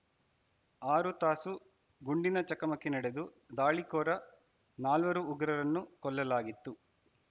ಆರು ತಾಸು ಗುಂಡಿನ ಚಕಮಕಿ ನಡೆದು ದಾಳಿಕೋರ ನಾಲ್ವರು ಉಗ್ರರನ್ನು ಕೊಲ್ಲಲಾಗಿತ್ತು